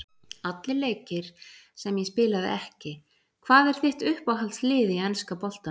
Allir leikir sem ég spilaði ekki Hvað er þitt uppáhalds lið í enska boltanum?